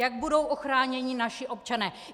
Jak budou ochráněni naši občané?